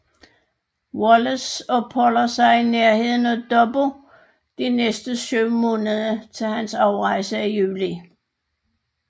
Wallace opholder sig i nærheden af Dobbo de næste syv måneder til hans afrejse i juli